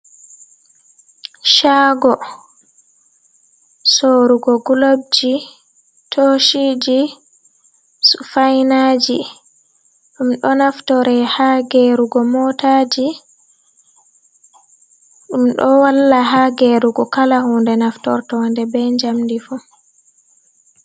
Shago sorugo golobji toshiji sufainaji ɗum ɗo naftore ha gerugo motaji ɗum ɗo walla ha gerugo kala hunɗe naftortoɗe be jamdi fu.